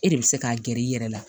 E de bɛ se k'a gɛrɛ i yɛrɛ la